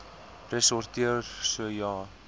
ressorteer so ja